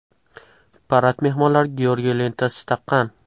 Parad mehmonlari Georgiy lentasi taqqan.